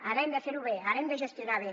ara hem de fer ho bé ara hem de gestionar bé